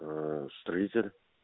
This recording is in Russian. строитель